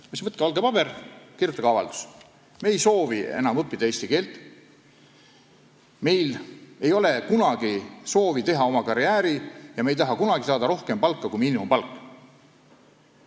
Ma ütlesin: "Võtke valge paber ja kirjutage avaldus, et me ei soovi enam õppida eesti keelt, meil ei ole kunagi soovi teha karjääri ja me ei taha kunagi saada rohkem palka kui miinimumpalk.